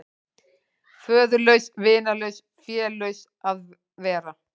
Föðurlaus, vinalaus, félaus að vera.